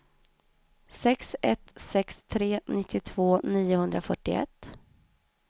sex ett sex tre nittiotvå niohundrafyrtioett